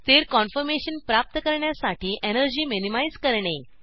स्थिर कन्फर्मेशन प्राप्त करण्यासाठी एनर्जी मिनिमाइज़ करणे